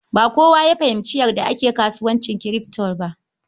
Ba kowa ya fahimci yadda ake kasuwancin kirfto ba.